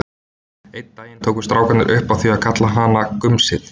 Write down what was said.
Einn daginn tóku strákarnir upp á því að kalla hana gumsið.